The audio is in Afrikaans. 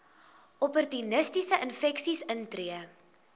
opportunistiese infeksies intree